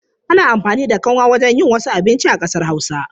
Ana amfani da kanwa wajen yin wasu abinci a ƙasar Hausa.